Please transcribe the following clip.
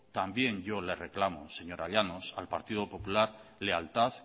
también yo le reclamo señora llanos al partido popular lealtad